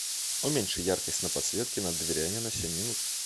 уменьши яркость на подсветке над дверями на семь минут